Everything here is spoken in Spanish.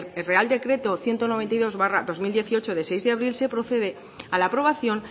real decreto ciento noventa y dos barra dos mil dieciocho de seis de abril se procede a la aprobación